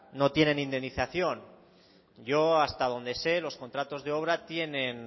no tienen indemnización yo hasta donde sé los contratos de obra tienen